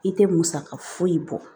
I tɛ musaka foyi bɔ